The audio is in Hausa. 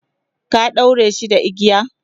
ka ɗaure shi da igiya?